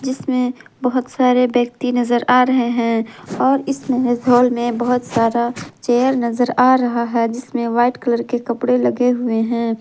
इसमें बहुत सारे व्यक्ति नजर आ रहे हैं और इस हॉल में बहुत सारा चेयर नजर आ रहा है जिसमें व्हाइट कलर के कपड़े लगे हुए हैं।